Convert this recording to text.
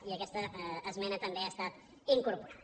i aquesta esmena també ha estat incorporada